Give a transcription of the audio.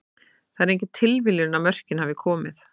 Það er engin tilviljun að mörkin hafa komið.